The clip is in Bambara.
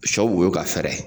Sɔ woyo ka fɛɛrɛ.